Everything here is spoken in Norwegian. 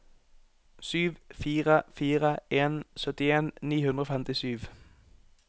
sju fire fire en syttien ni hundre og femtisju